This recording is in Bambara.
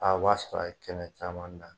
A b'a sɔrɔ a ye kɛnɛ caman dan.